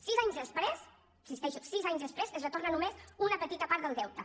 sis anys després hi insisteixo sis anys després es retorna només una petita part del deute